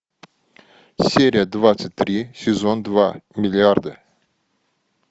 серия двадцать три сезон два миллиарды